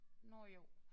Nåh jo